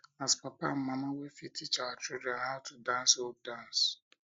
as papa and mama we fit teach our children how to dance old dance